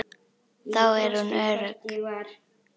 Þar er hún örugg.